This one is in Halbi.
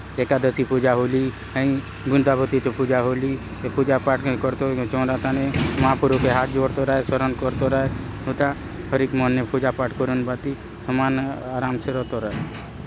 एकादशी पूजा होली हाई वृन्दावती चो पूजा होली ये पूजा पाठ मन करतो चवरा थाने महाप्रभु के हाथ जोड़तोर आय शरण करतोर आय हुंता हरिक मन ने पूजा पाठ करून भांति सामान्य आराम से रतोर आय।